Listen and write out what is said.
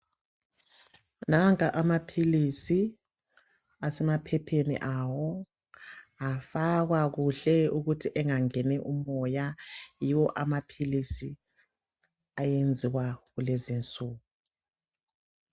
Nanka amaphilisi asemaphepheni awo afakwa kuhle ukuthi engangeni umoya yiwo amaphilisi ayenziwa kulezinsuku.